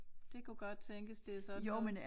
Det kunne godt tænkes det er sådan noget